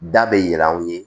Da bɛ yɛlɛ an ye